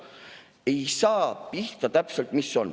Ei saa pihta täpselt, mis on.